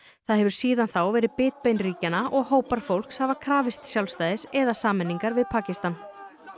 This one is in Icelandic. það hefur síðan þá verið bitbein ríkjanna og hópar fólks hafa krafist sjálfstæðis eða sameiningar við Pakistan